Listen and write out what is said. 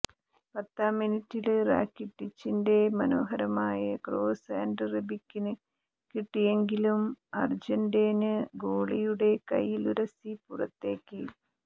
പത്താംമിനിറ്റില് റാക്കിട്ടിച്ചിന്റെ മനോഹരമായ ക്രോസ് ആന്റെ റെബികിന് കിട്ടിയെങ്കിലും അര്ജന്റൈന് ഗോളിയുടെ കൈയിലുരസി പുറത്തേക്ക്